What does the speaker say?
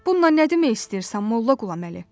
Bununla nə demək istəyirsən Molla Qulaməli?